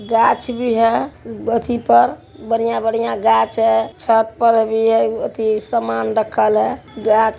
गाछ भी है अथि पर बढ़िया-बढ़िया गाछ है छत पर अभी है अथि समान रखल है। गा--